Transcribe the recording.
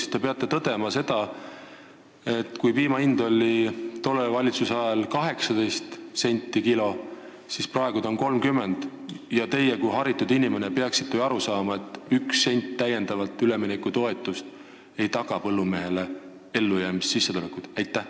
Aga te peate tõdema üht – teie kui haritud inimene peaksite ju sellest aru saama –, et kui piima hind oli tolle valitsuse ajal 18 ja on praegu 30 senti kilo, siis ei taga 1 sent täiendavat üleminekutoetust põllumehele ellujäämiseks vajalikku sissetulekut.